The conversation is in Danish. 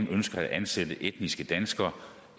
ønsker at ansætte etniske danskere